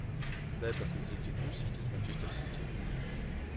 дай посмотреть игру сити с манчестер сити